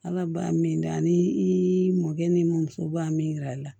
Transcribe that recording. Ala ba min kɛ ani i mɔkɛ n'i muso b'a min yira i la